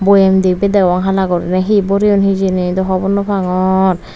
boyem dibey degong hala gurinei hi boreyon hijeni daw hobor nopangor.